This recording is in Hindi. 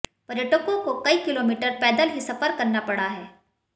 पर्यटकों को कई किलोमीटर पैदल ही सफर करना पड़ा है